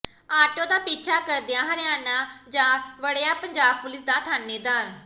auto ਦਾ ਪਿੱਛਾ ਕਰਦਿਆਂ ਹਰਿਆਣੇ ਜਾ ਵੜਿਆ ਪੰਜਾਬ ਪੁਲਿਸ ਦਾ ਥਾਣੇਦਾਰ